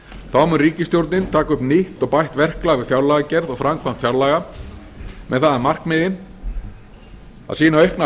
þá mun ríkisstjórnin taka upp nýtt og bætt verklag við fjárlagagerð og framkvæmd fjárlaga með það að markmiði að sýna aukna